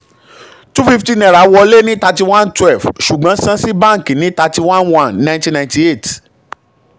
two fifty naira wọlé ní thiry-one twelve ṣùgbọ́n san sí bánkì ní thirty-one one nineteen ninety-eight